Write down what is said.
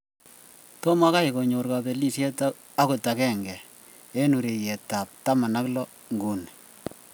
Tomo kai konyor kabelishiet agot agenge eng urerietab 16 nguni.